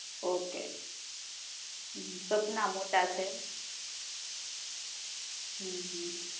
okay સપના મોટા છે